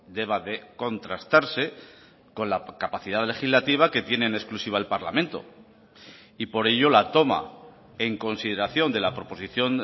deba de contrastarse con la capacidad legislativa que tiene en exclusiva el parlamento y por ello la toma en consideración de la proposición